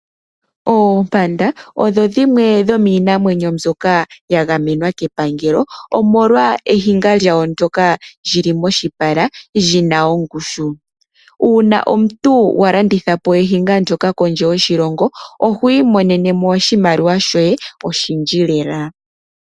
Oompanda odho dhimwe dhomiinamwenyo mbyoka ya gamenwa kepangelo omolwa ehinga lyawo ndyoka lyili moshipala lyina ongushu. Uuna omuntu wa landithapo ehinga ndyoka kondje yoshilongo oho imonenemo oshimaliwa shoye oshindji lela.